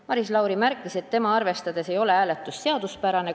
Maris Lauri märkis, et tema arvates ei ole hääletus seaduspärane.